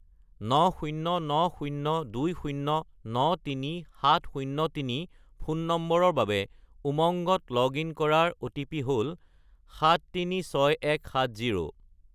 90902093703 ফোন নম্বৰৰ বাবে উমংগত লগ-ইন কৰাৰ অ'টিপি হ'ল 736170